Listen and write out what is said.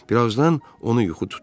Birazdan onu yuxu tutdu.